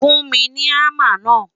fún mí ní hamá na